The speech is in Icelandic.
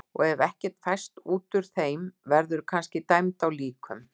Og ef ekkert fæst út úr þeim verðurðu kannski dæmd á líkum.